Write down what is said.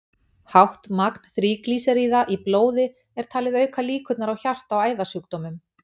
Hátt magn þríglýseríða í blóði er talið auka líkurnar á hjarta- og æðasjúkdómum.